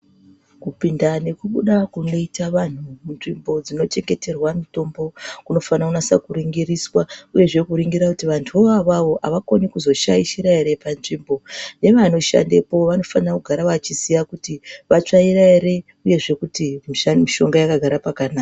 Kupinda nekubuda kunoita vanhu munzvimbo dzinochengeterwa mitombo. Kunofana kunase kuringiriswa, uyezve kuringira kuti vantuwo awawo, avakoni kuzoshaishira ere panzvimbo. Hino anoshandepo anofane kugara achiziya kuti, vatsvaira ere, uyezve kuti misha mishonga yakagare pakanaka.